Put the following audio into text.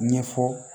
Ɲɛfɔ